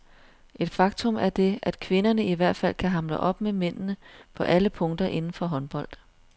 Et faktum er det, at kvinderne i hvert fald kan hamle op med mændene på alle punkter inden for håndbold.